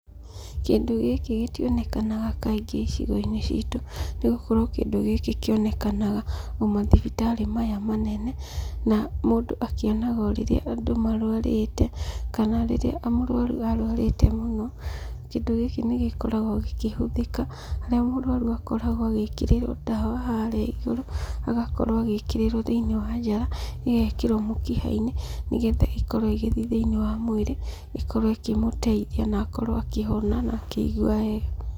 Kĩndũ gĩkĩ gĩtionekanaga kaingĩ icigo-inĩ citũ, nĩ gũkorwo kĩndũ gĩkĩ kĩonekanaga o mathibitarĩ maya manene, na mũndũ akĩonaga o rĩrĩa andũ marwarĩte, kana rĩrĩa mũrũaru arũarĩte mũno Kĩndũ gĩkĩ nĩ gĩkoragwo gĩkĩhũthĩka harĩa mũrũaru akoragwo agĩkĩrĩrwo ndawa harĩa igũrũ, agakorwo agĩkĩrĩrwo thĩinĩ wa njara, igekĩrwo mũkiha-inĩ, nĩgetha ĩkorwoĩgĩthiĩ thĩinĩ wa mwĩrĩ ĩkorwo ĩkĩmũteithia na akorwo akĩhona na akĩigwa wega.